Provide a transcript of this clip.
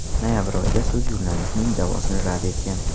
Noyabr oyida sud jurnalistning da’vosini rad etgan.